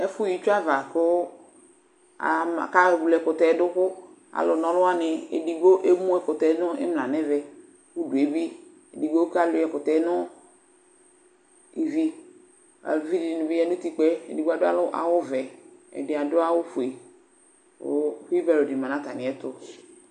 Ɛfʋɣa itsu ava kʋ ewle ɛkʋtɛ yɛ dʋ kʋ alʋna ɔlʋ wanɩ edigbo emu ɛkʋtɛ yɛ nʋ ɩmla nʋ ɛvɛ kʋ udu yɛ bɩ edigbo kalʋɩɛ ɛkʋtɛ nʋ ivi, uvi dɩnɩ bɩ ya nʋ utikpǝ yɛ, edigbo dʋ awʋ vɛ, ɛdɩ adʋ awʋ fue, kʋ kɩbɛr dɩ ma nʋ atamɩ ɛtʋ